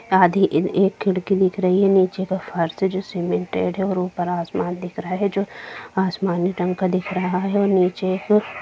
आधी एक खिड़की दिख रही है नीचे का फर्श जो सीमेंटेड है और ऊपर आसमान दिख रहा है जो आसमानी रंग का दिख रहा है और नीचे--